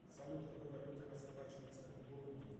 салют какой валютой расплачиваются в бурунди